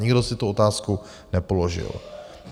Nikdo si tu otázku nepoložil.